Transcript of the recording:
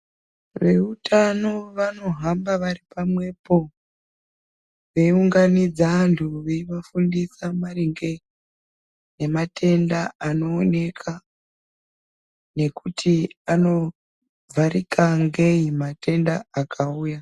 Veutano vanohamba vari pamwepo veiunganidza antu veivafundisa maringe ngematenda anooneka nekuti anovharika ngei matenda akauya.